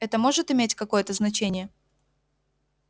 это может иметь какое-то значение